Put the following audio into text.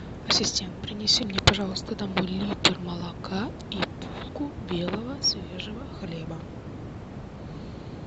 ассистент принеси мне пожалуйста домой литр молока и булку белого свежего хлеба